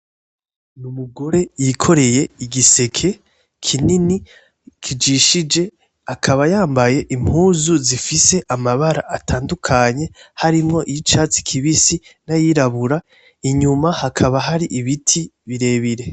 Ni umugore wikoreye igiseke kinini kijishije akaba yambaye impuzu zifise amabara atadukanye harimo icatsi kibisi nayirabura inyuma hakaba hari ibiti birebire.